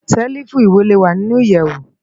Sèlifú iwé lé wá ninú iyèwó